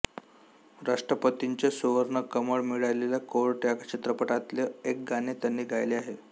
राष्ट्रपतींचे सुवर्णकमळ मिळालेल्या कोर्ट या चित्रपटातले एक गाणे त्यांनी गायले आहे